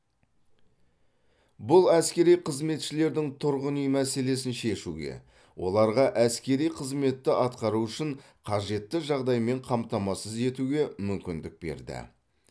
бұл әскери қызметшілердің тұрғын үй мәселесін шешуге оларға әскери қызметті атқару үшін қажетті жағдаймен қамтамасыз етуге мүмкіндік берді